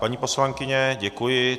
Paní poslankyně, děkuji.